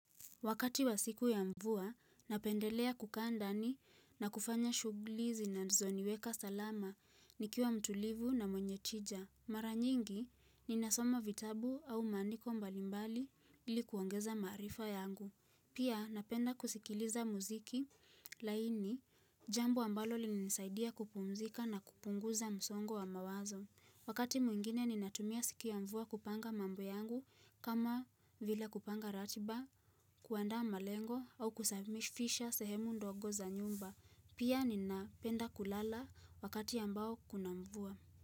Wakati wa siku ya mvua, napendelea kukaa ndani na kufanya shugli zinazoniweka salama nikiwa mtulivu na mwenye tija. Maranyingi, ninasoma vitabu au maandiko mbalimbali ili kuongeza maarifa yangu. Pia, napenda kusikiliza muziki laini jambo ambalo linisaidia kupumzika na kupunguza msongo wa mawazo. Wakati mwingine ninatumia siku ya mvua kupanga mambo yangu kama vile kupanga ratiba, kuandaa malengo au kusabmifisha sehemu ndogo za nyumba. Pia ninapenda kulala wakati ambao kuna mvua.